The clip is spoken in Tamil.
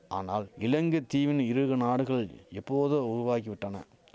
ஆனால் இலங்கை தீவின் இருகுநாடுகள் எப்போதோ உருவாகிவிட்டன